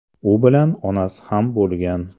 U bilan onasi ham bo‘lgan.